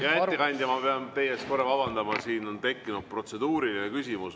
Hea ettekandja, ma pean teie ees korra vabandama, siin on tekkinud protseduuriline küsimus.